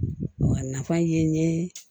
A nafa ye n ye